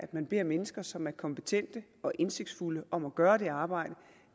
man beder mennesker som er kompetente og indsigtsfulde om at gøre det arbejde